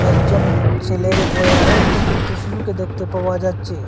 একজন ছেলের উপরে আরও একটা ছোট্ট শিশুকে দেখতে পাওয়া যাচ্ছে।